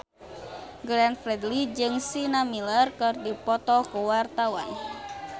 Glenn Fredly jeung Sienna Miller keur dipoto ku wartawan